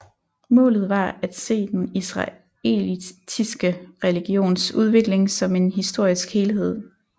Målet var at se den israelitiske religions udvikling som en historisk helhed